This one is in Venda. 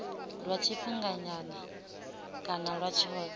lwa tshifhinganyana kana lwa tshothe